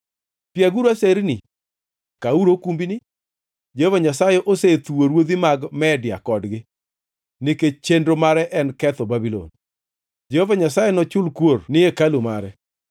“Piaguru aserni, kauru okumbini! Jehova Nyasaye osethuwo ruodhi mag Media kodgi, nikech chenro mare en ketho Babulon. Jehova Nyasaye nochul kuor ni hekalu mare.